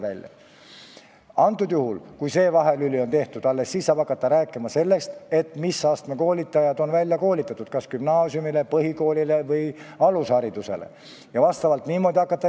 Alles siis, kui see vahelüli on tehtud, saab hakata rääkima sellest, mis astme koolitajad on välja koolitatud – kas gümnaasiumile, põhikoolile või alusharidusele –, ja neid vastavalt ka välja jagama hakata.